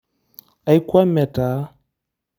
Aikwame taa.